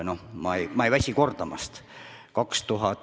Noh, ma ei väsi kordamast.